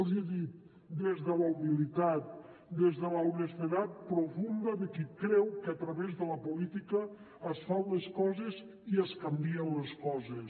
els hi he dit des de la humilitat des de l’honestedat profunda de qui creu que a través de la política es fan les coses i es canvien les coses